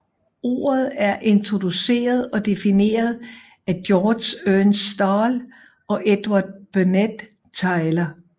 Ordet er introduceret og defineret af Georg Ernst Stahl og Edward Burnett Tylor